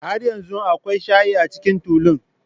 Har yanzu akwai shayi a cikin tulun.